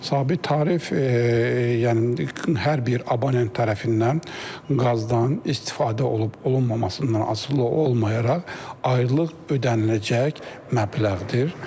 Sabit tarif, yəni hər bir abonent tərəfindən qazdan istifadə olub-olunmamasından asılı olmayaraq aylıq ödəniləcək məbləğdir.